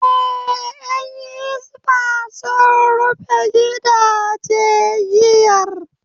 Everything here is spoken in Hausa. Eh, Yan Hisbah sun rufe gidaje giyar